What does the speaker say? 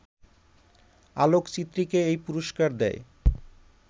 আলোকচিত্রীকে এই পুরস্কার দেয়